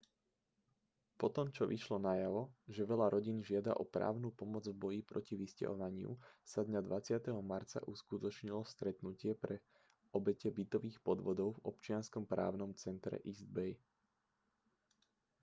potom čo vyšlo najavo že veľa rodín žiada o právnu pomoc v boji proti vysťahovaniu sa dňa 20. marca uskutočnilo stretnutie pre obete bytových podvodov v občianskom právnom centre east bay